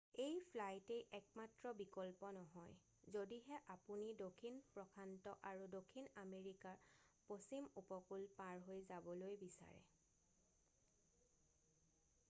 এই ফ্লাইটেই একমাত্ৰ বিকল্প নহয় যদিহে আপুনি দক্ষিণ প্ৰশান্ত আৰু দক্ষিণ আমেৰিকাৰ পশ্চিম উপকূল পাৰ হৈ যাবলৈ বিচাৰে৷ তলত চাওঁক